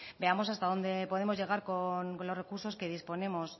veamos hasta dónde podemos llegar con los recursos que disponemos